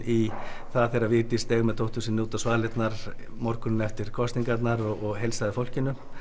í það þegar Vigdís steig með dóttur sinni út á svalirnar morguninn eftir kosningarnar og heilsaði fólkinu